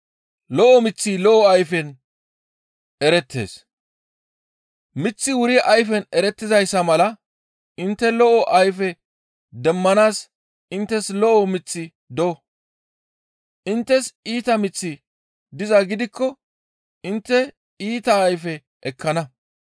«Miththi wuri ayfen erettizayssa mala intte lo7o ayfe demmanaas inttes lo7o miththi do; inttes iita miththi dizaa gidikko intte iita ayfe ekkana.